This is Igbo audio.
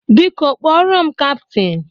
Biko kpọrọ m kaptin!